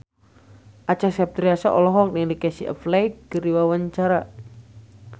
Acha Septriasa olohok ningali Casey Affleck keur diwawancara